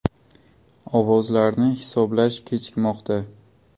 Ovozlarni hisoblash kechikmoqda.